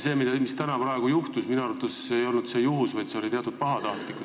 See, mis praegu juhtus, ei olnud minu arvates juhus, vaid see oli teatud pahatahtlikkus.